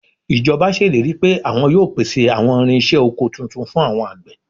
Ìjọba ṣèlérí pé àwọn yóò pèsè àwọn irinṣẹ́ oko tuntun fún àwọn àgbẹ̀